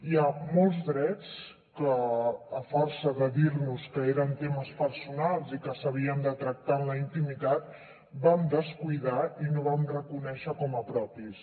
hi ha molts drets que a força de dir nos que eren temes personals i que s’havien de tractar en la intimitat vam descuidar i no vam reconèixer com a propis